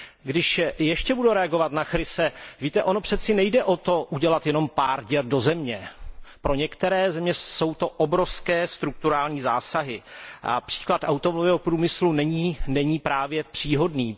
Když ještě budu reagovat na slova Chrise, víte, ono přeci nejde o to udělat jenom pár děr do země, pro některé země jsou to obrovské strukturální zásahy a příklad automobilového průmyslu není právě příhodný.